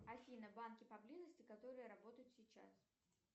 афина банки поблизости которые работают сейчас